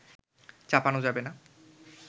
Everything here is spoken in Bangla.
চাপানো যাবে না